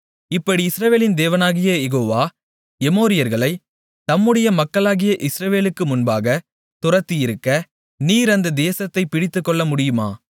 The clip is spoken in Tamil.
இப்படி இஸ்ரவேலின் தேவனாகிய யெகோவா எமோரியர்களை தம்முடைய மக்களாகிய இஸ்ரவேலுக்கு முன்பாகத் துரத்தியிருக்க நீர் அந்த தேசத்தை பிடித்துக்கொள்ளமுடியுமா